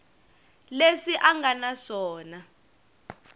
leswi a nga na swona